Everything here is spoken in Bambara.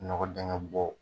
Nɔgɔ dingɛ bɔ